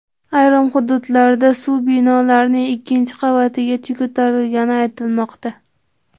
Ayrim hududlarda suv binolarning ikkinchi qavatigacha ko‘tarilgani aytilmoqda.